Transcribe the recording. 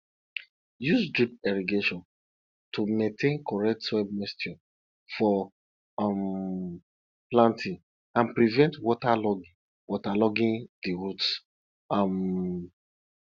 use drip irrigation to maintain correct soil moisture for um planting and prevent waterlogging waterlogging the roots um